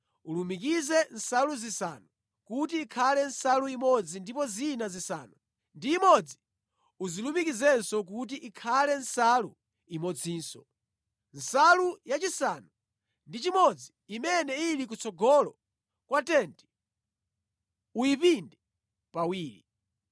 Ulumikize nsalu zisanu kuti ikhale nsalu imodzi ndipo zina zisanu ndi imodzi uzilumikizenso kuti ikhale nsalu imodzinso. Nsalu yachisanu ndi chimodzi imene ili kutsogolo kwa tenti uyipinde pawiri.